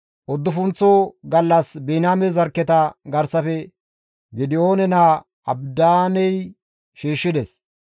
Uddufunththo gallas Biniyaame zarkketa garsafe Gidi7oone naa Abidaaney shiishshides.